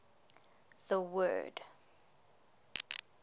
the word